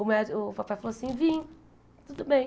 O médi o papai falou assim, vim, tudo bem.